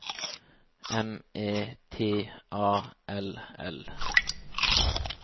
M E T A L L